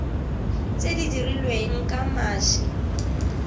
tse di dirilweng ka mashi